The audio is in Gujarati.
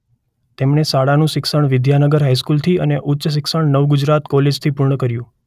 તેમણે શાળાનું શિક્ષણ વિદ્યાનગર હાઇસ્કૂલથી અને ઉચ્ચ શિક્ષણ નવગુજરાત કોલેજથી પૂર્ણ કર્યું.